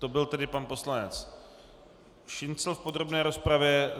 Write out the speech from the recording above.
To byl tedy pan poslanec Šincl v podrobné rozpravě.